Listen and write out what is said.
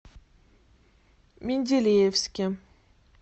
менделеевске